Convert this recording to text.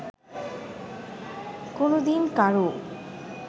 কোনো দিন কারও